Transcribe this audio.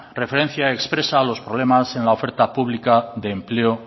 referencia expresa a los problemas en la oferta pública de empleo